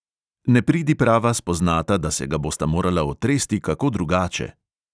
Nepridiprava spoznata, da se ga bosta morala otresti kako drugače.